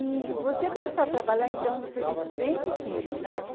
E você começou a trabalhar então, você disse, bem pequeno, né?